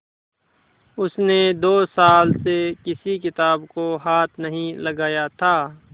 उसने दो साल से किसी किताब को हाथ नहीं लगाया था